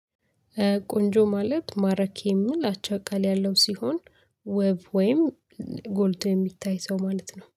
ቆንጆ ማለት ማራኪ የሚል አቻ ቃል ያለው ሲሆን ወይም ጎልቶ የሚታይ ሰው ማለት ነው